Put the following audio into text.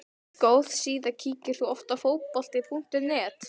Góð síða Kíkir þú oft á Fótbolti.net?